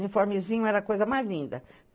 Uniformezinho era a coisa mais linda.